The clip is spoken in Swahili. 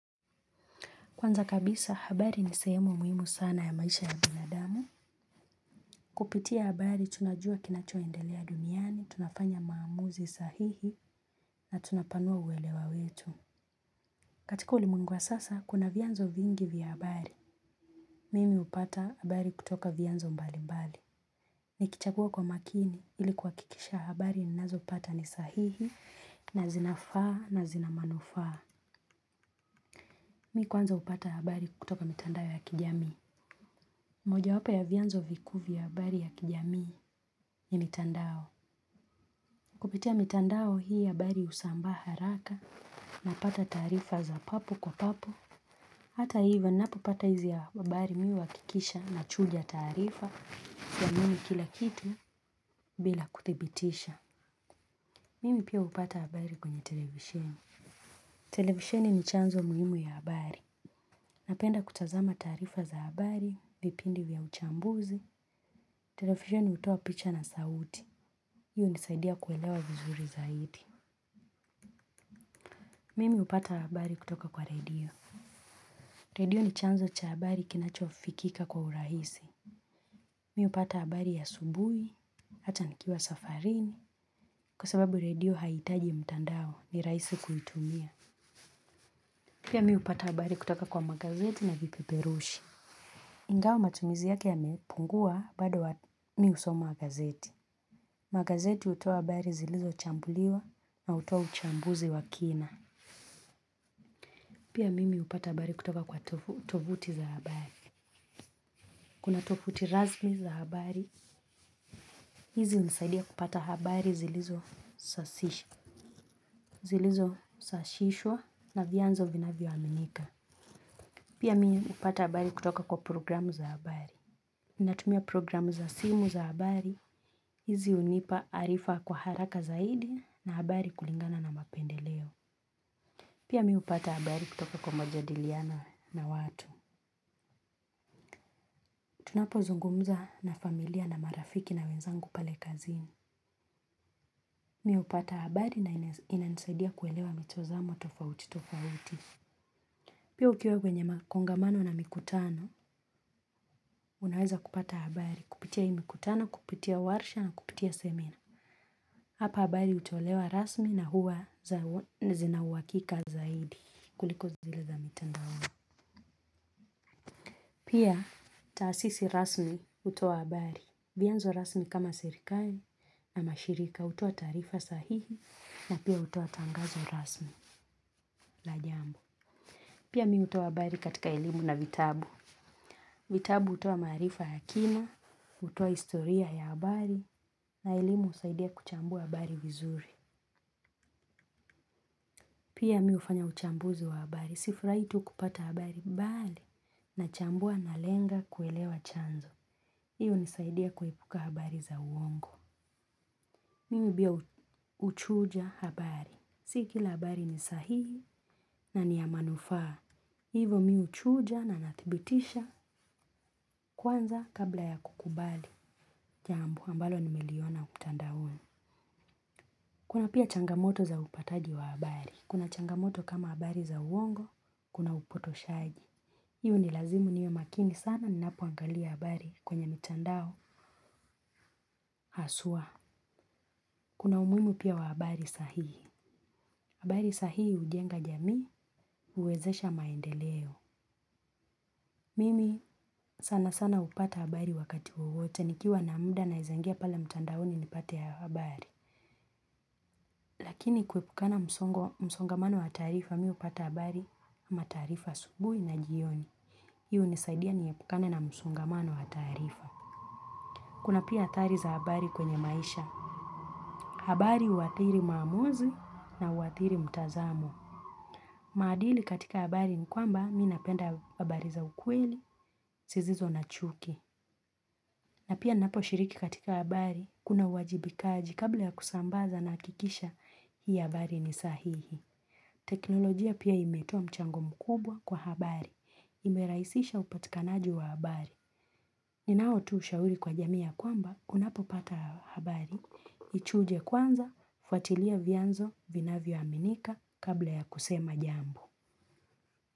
Kwanza kabisa, habari ni sehemu muhimu sana ya maisha ya binadamu. Kupitia habari, tunajua kinachoendelea duniani, tunafanya maamuzi sahihi na tunapanua uwelewa wetu. Katika ulimwengu wa sasa, kuna vianzo vingi vya habari. Mimi upata habari kutoka vianzo mbali mbali. Nikichagua kwa makini, ili kuwa kikisha habari ni nazo upata ni sahihi na zina faa na zina manufaa. Mi kwanza upata habari kutoka mitandao ya kijamii. Moja wapo ya vianzo vikuu vya habari ya kijamii, ni mitandao. Kupitia mitandao, hii habari usambaa haraka napata taarifa za papu kwa papu. Hata hivo, ninapo pata hizi ya abari mimi uwakikisha na chuja taarifa, ya muhimu kila kitu, bila kuthibitisha. Mimi pia upata habari kwenye televisheni. Televisheni ni chanzo muhimu ya habari. Napenda kutazama taarifa za habari, vipindi vya uchambuzi, televsheni utoa picha na sauti. Hiyo hunisaidia kuelewa vizuri zaidi. Mimi upata habari kutoka kwa redio. Redio, ni chanzo cha habari kinachofikika kwa urahisi. Mi upata habari ya asubui, hata nikiwa safarini, kwa sababu radio haitaji mtandao. Ni raisi kuitumia. Pia mi upata habari kutoka kwa magazeti na vipiperushi. Ngao matumizi yake yamepungua, bado wa mi husoma magazeti. Magazeti hutoa habari zilizo chambuliwa na utoa uchambuzi wa kina. Pia, mimi upata habari kutoka kwa tovuti za habari. Kuna tovuti razmi za habari. Hizi unisaidia kupata habari zilizosashishwa na vianzo vinayoaminika. Pia mimi upata habari kutoka kwa programu za habari. Inatumia programu za simu za habari, hizi unipa arifa kwa haraka zaidi na habari kulingana na mapendeleo. Pia mi upata habari kutoka kwa majadiliana, na watu. Tunapo zungumza na familia na marafiki na wenzangu pale kazini. Mi upata habari na inansaidia kuelewa mitozamo tofauti tofauti. Pia, ukiwa kwenye makongamano na mikutano, unaweza kupata habari. Kupitia hii mikutano, kupitia warsha na kupitia semina. Hapa habari utolewa rasmi na huwa, zinauwakika zaidi. Kuliko zile za mitandaoni. Pia, taasisi rasmi utoa habari. Vianzo rasmi kama serikali, ama shirika utoa taarifa sahihi na pia utoa tangazo rasmi. La jambo. Pia mimi utoa habari katika elimu na vitabu. Vitabu utoa maarifa ya kina, hutoa historia ya habari na elimu husaidia kuchambua habari vizuri. Pia, mi ufanya uchambuzi wa habari, sifurahii tu kupata habari, bali, nachambua nalenga kuelewa chanzo. Hii unisaidia kuepuka habari za uongo. Mimi bia uchuja habari. Sikila habari ni sahihi na niya manufaa. Hivo mi uchuja na nathibitisha, kwanza, kabla ya kukubali. Jambo ambalo nimeliona mtandaoni. Kuna pia changamoto za upataji wa habari. Kuna changamoto kama habari za uongo, kuna upotoshaji. Hii unilazimu niwe makini sana ninapoangalia habari, kwenye mitandao. Haswa. Kuna umuimu pia wa habari sahihi. Habari sahihi ujenga jamii, uwezesha maendeleo. Mimi, sana sana upata habari wakati wowote nikiwa na muda naezaingia pale mtandaoni nipate ya habari. Lakini kepukana msongamano wa taarifa, mi upata habari, ama taarifa asubuhi na jioni. Hii unisaidia niepukane na msongamano wa taarifa. Kuna pia, athari za habari kwenye maisha. Habari uathiri maamuzi na uathiri mtazamo. Maadili katika habari ni kwamba, mi napenda habari za ukweli, sizizo na chuki. Na pia, ninapo shiriki katika habari, kuna uwajibikaji kabla ya kusambaza na akikisha hii habari ni sahihi. Teknolojia pia imetoa mchango mkubwa kwa habari. Imeraisisha upatikanaji wa habari. Ninao tu ushauri kwa jamii ya kwamba, unapopata habari, ichuje kwanza, fuatilia vianzo, vinavyoaminika, kabla ya kusema jambo.